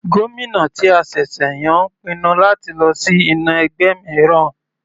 Gómìnà ti a ṣẹ̀ṣẹ̀ yàn ń pinnu láti lọ sí inú ẹgbẹ́ mìíràn.